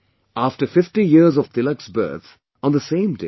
After 50 years of Tilak's birth, on the same day i